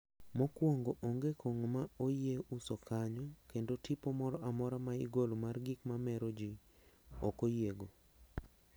Mokwongo onge kong`o ma oyie uso kanyo kendo tipo moro amora ma igolo mar gik mamero be ok oyiego.